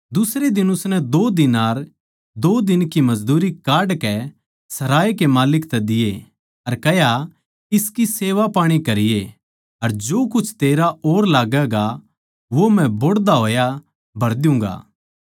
दुसरे दिन उसनै दो दीनार दो दिन की मजदूरी काढ कै सराय कै माल्लिक तै दिये अर कह्या इसकी सेवापाणी करिये अर जो कुछ तेरा और लागैगा वो मै बोहड़दा होया भर द्युगां